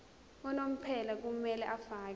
unomphela kumele afakele